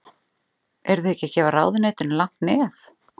Eruð þið ekki að gefa ráðuneytinu langt nef?